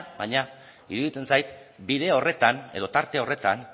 baina iruditzen zait bide horretan edo tarte horretan